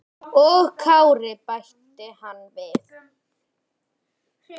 Og Kári, bætti hann við.